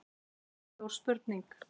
Það er stór spurning